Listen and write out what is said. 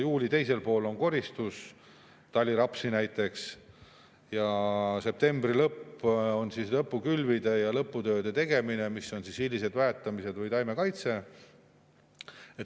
Juuli teisel poolel on koristus, taliraps näiteks, ja septembri lõpus on lõpukülvide ja lõputööde tegemine, mis on hilised väetamised või taimekaitse.